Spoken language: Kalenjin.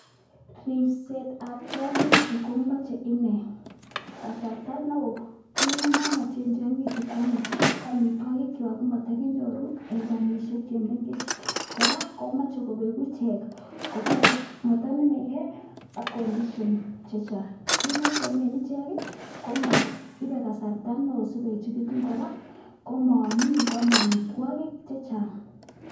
Ripsetab tiong'ichu komoche inee kasarta neo kit nemomochen tiong'ichu ane koamitwogikywak komatakinyoru en kandishek che mengech. Kora komoche kobegu ichek, motonomege ak conditions chechang. Kit ne ochomen ichek ko ibe kasarta neo si koechegitun kor ko moamin ko ame amitwogik chechang.